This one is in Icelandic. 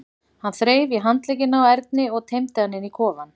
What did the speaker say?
Hann þreif í handlegginn á Erni og teymdi hann inn í kofann.